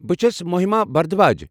بہِ چھس مٔہِما بھردھواج۔